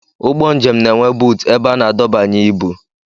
Ụgbọ njem na-enwe buutu ebe a na-adọbanye ibu